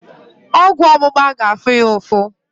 Ọgwụ ógbụ̀gbá ga-afụ ya ụfụ